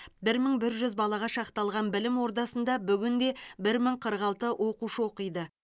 бір мың бір жүз балаға шақталған білім ордасында бүгінде бір мың қырық алты оқушы оқиды